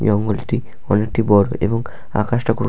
জঙ্গলটি অনেকটি বড় এবং আকাশটা --